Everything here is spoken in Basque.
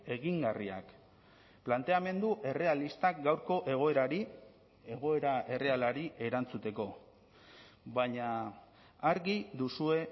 egingarriak planteamendu errealistak gaurko egoerari egoera errealari erantzuteko baina argi duzue